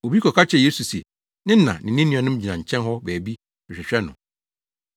Obi kɔka kyerɛɛ Yesu se ne na ne ne nuanom gyina nkyɛn hɔ baabi rehwehwɛ no.